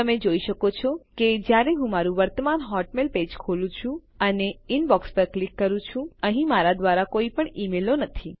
તમે જોઈ શકો છો કે જયારે હું મારું વર્તમાન હોટમેઇલ પેજ ખોલું છું અને ઇનબોક્સ પર ક્લિક કરું છું અહીં મારાં દ્વારા કોઈપણ ઈમેલો નથી